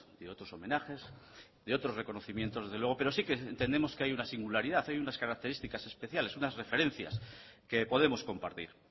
de otros homenajes de otros reconocimientos pero sí que entendemos que hay una singularidad hay unas características especiales unas referencias que podemos compartir